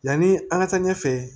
Yanni an ka taa ɲɛfɛ